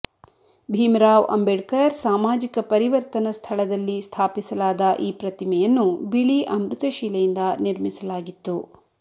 ಭೀಮರಾವ್ ಅಂಬೇಡ್ಕರ್ ಸಾಮಾಜಿಕ ಪರಿವರ್ತನ ಸ್ಥಳದಲ್ಲಿ ಸ್ಥಾಪಿಸಲಾದ ಈ ಪ್ರತಿಮೆಯನ್ನು ಬಿಳಿ ಅಮೃತಶಿಲೆಯಿಂದ ನಿರ್ಮಿಸಲಾಗಿತ್ತು